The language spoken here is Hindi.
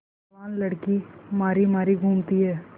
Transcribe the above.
जवान लड़की मारी मारी घूमती है